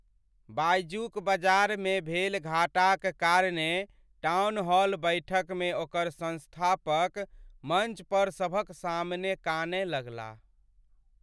बायजू क बजारमे भेल घाटाक कारणेँ टाउनहॉल बैठकमे ओकर सँस्थापक मञ्चपर सभक सामने कानय लगलाह।